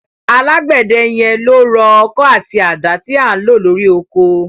Alágbẹ̀dẹ yẹn ló rọ ọkọ́ àti àdá tí à ń lò lórí oko.